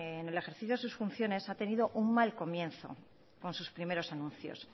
en el ejercicio de sus funciones ha tenido un mal comienzo con sus primeros anuncios